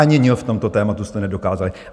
Ani "ň" v tomto tématu jste nedokázali!